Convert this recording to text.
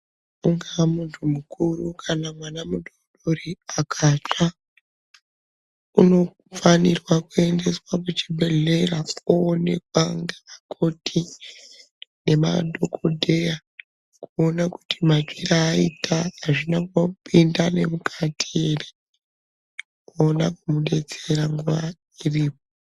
Unga muntu mukuru kana mwana mudoridori akatsva unofanirwa kuendeswa kuchibhedhlera oonekwa ngevakoti, ngemadhokodheya kuona kuti matsvire akaita azvina kupinda nemukati ere voona kumudetsera nguwa iripo.